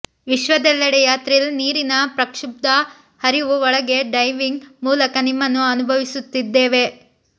ವಿಶ್ವದೆಲ್ಲೆಡೆಯ thrill ನೀರಿನ ಪ್ರಕ್ಷುಬ್ಧ ಹರಿವು ಒಳಗೆ ಡೈವಿಂಗ್ ಮೂಲಕ ನಿಮ್ಮನ್ನು ಅನುಭವಿಸುತ್ತಿದ್ದೇವೆ